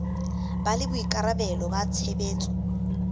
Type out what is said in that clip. ba le boikarabelo ba tshebetso